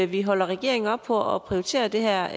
vi holder regeringen op på at prioritere det her